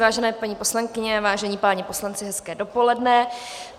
Vážené paní poslankyně, vážení páni poslanci, hezké dopoledne.